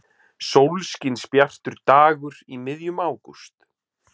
Sólskinsbjartur dagur í miðjum ágúst.